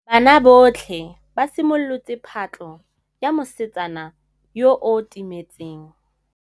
Banna botlhê ba simolotse patlô ya mosetsana yo o timetseng.